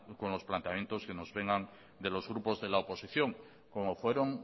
con los planteamientos que nos vengan de los grupos de la oposición como fueron